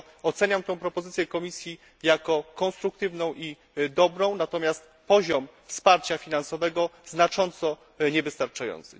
Dlatego oceniam tę propozycję Komisji jako konstruktywną i dobrą, natomiast poziom wsparcia finansowego znacząco niewystarczający.